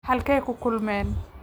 Halkee ku kulmeen?